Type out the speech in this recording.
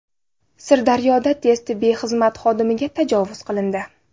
Sirdaryoda tez tibbiy xizmat xodimiga tajovuz qilindi.